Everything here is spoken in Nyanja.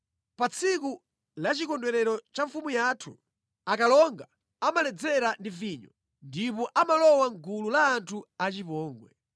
Pa tsiku la chikondwerero cha mfumu yathu akalonga amaledzera ndi vinyo, ndipo amalowa mʼgulu la anthu achipongwe.